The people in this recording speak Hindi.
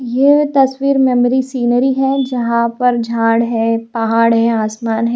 ये तस्वीर मेमोरी सीनरी है जहां पर झाड़ है पहाड़ है आसमान है।